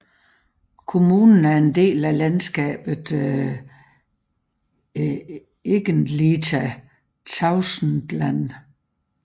Kommunen er en del af landskabet Egentliga Tavastland